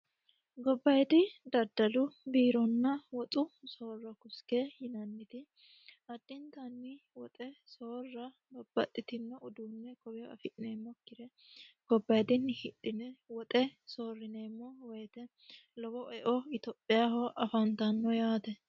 gobbayiidi daddalu biironna woxu soorro riske yinanniti addintanni woxe soorra babbaxitinno uduunne koweyoo afi'neemmokkire gobbayiidinni hidhine woxe soorrineemo woyiite lowo eo etiophiyaaho afantanno yaate